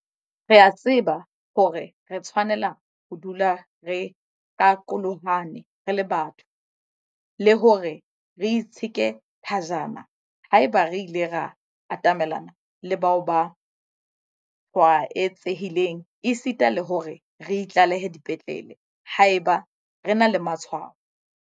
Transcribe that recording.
Re a tseba hore re tshwanela ho dula re qaqolohane re le batho, le hore re itsheke thajana haeba re ile ra atamelana le bao ba tshwaetsehileng esita le hore re itlalehe dipetlele haeba re na le matshwao.